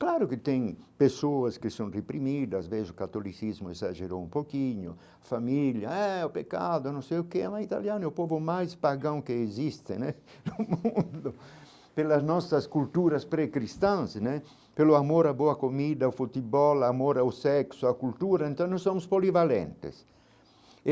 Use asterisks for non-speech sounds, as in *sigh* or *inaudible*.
Claro que tem pessoas que são reprimidas, vejo o catolicismo exagerou um pouquinho, a família é o pecado, não sei o que, mas italiano é o povo mais pagão que existe né *laughs* no mundo pelas nossas culturas pré-cristãs né, pelo amor a boa comida, o futebol, amor ao sexo, a cultura, então nós somos polivalentes.